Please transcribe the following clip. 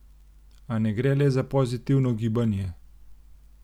A ne gre le za pozitivno gibanje.